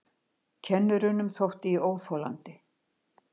Kennurunum þótti ég óþolandi.